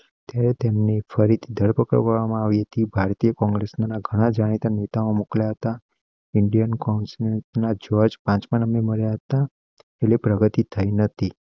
તેમની ફરી ધરપકડ કરવામાં આવી હતી. ભારતીય કોંગ્રેસ ના ઘણાં જાણીતા નેતાઓ મોકલતા ઇન્ડિયન કાઉન્સિલ ના જજ પાછળ અમે મળ્યા હતા. લે પ્રગતિ થઈ નથી.